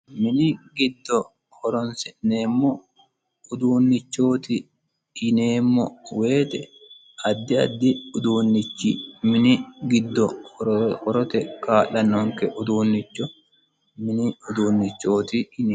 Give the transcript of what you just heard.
Mini giddo horonsi'neemno uduunnicho yineemmo woyiite addi addi uduunnichi mini gido horote kaa'lanonke uduunnicho mini uduunnicho yineemmo.